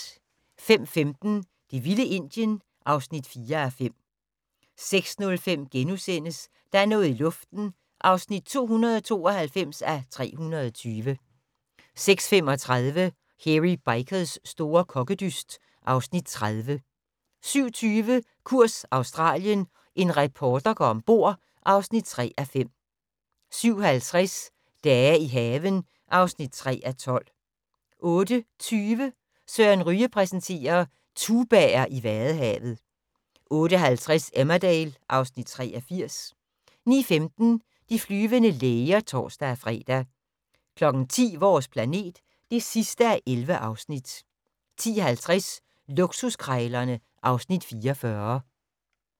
05:15: Det vilde Indien (4:5) 06:05: Der er noget i luften (292:320)* 06:35: Hairy Bikers' store kokkedyst (Afs. 30) 07:20: Kurs Australien - en reporter går om bord (3:5) 07:50: Dage i haven (3:12) 08:20: Søren Ryge præsenterer: Tubaer i vadehavet 08:50: Emmerdale (Afs. 83) 09:15: De flyvende læger (tor-fre) 10:00: Vores planet (11:11) 10:50: Luksuskrejlerne (Afs. 44)